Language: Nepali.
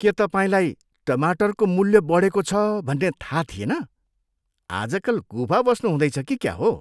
के तपाईँलाई टमाटरको मूल्य बढेको छ भन्ने थाहा थिएन? आजकल गुफा बस्नु हुँदैछ कि क्या हो?